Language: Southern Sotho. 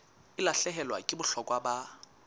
e lahlehelwa ke bohlokwa ba